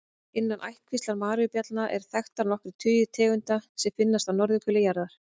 Innan ættkvíslar maríubjallna eru þekktar nokkrir tugir tegunda sem finnast á norðurhveli jarðar.